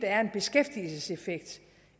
er en beskæftigelseseffekt